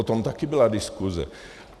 O tom také byla diskuse.